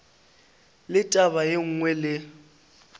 le taba ye nngwe le